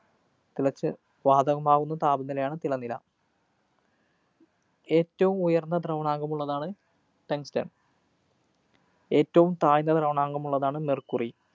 തിളച്ച് വാതകമാവുന്ന താപനിലയാണ് തിളനില. ഏറ്റവും ഉയര്‍ന്ന ദ്രവണാങ്കമുള്ളതാണ് tungsten. ഏറ്റവും താഴ്ന്ന ദ്രവണാങ്കമുള്ളതാണ് mercury